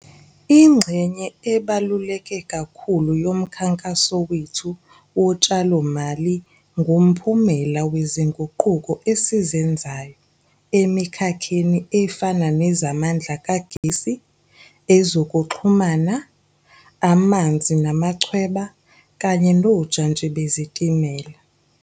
Ingxenye ebaluleke kakhulu yomkhankaso wethu wotshalomali ngumphu mela wezinguquko esizenzayo emikhakheni efana nezamandla kagesi, ezokuxhumana, amanzi namachweba kanye nojantshi bezitimela.